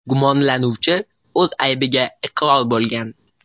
Gumonlanuvchi o‘z aybiga iqror bo‘lgan.